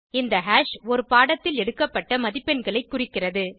இந்த ஹாஷ் ஒரு பாடத்தில் எடுக்கப்பட்ட மதிப்பெண்களை குறிக்கிறது